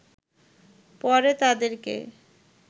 পরে তাদেরকে